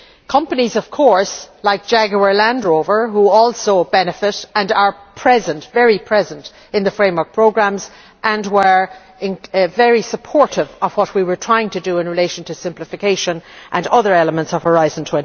Companies like Jaguar Land Rover which also benefit and are present very present in the framework programmes were very supportive of what we were trying to do in relation to simplification and other elements of Horizon